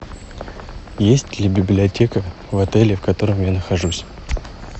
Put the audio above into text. есть ли библиотека в отеле в котором я нахожусь